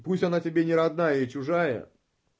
пусть она тебе не родная и чужая